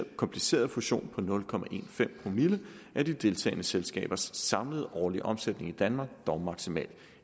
kompliceret fusion på nul promille af de deltagende selskabers samlede årlige omsætning i danmark dog maksimalt